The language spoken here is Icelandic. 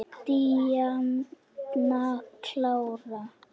Díana klára.